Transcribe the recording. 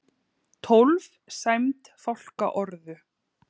Tólf sæmd fálkaorðu